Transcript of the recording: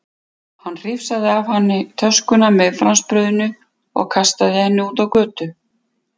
Hann hrifsaði af henni töskuna með franskbrauðinu og kastaði henni út á götu.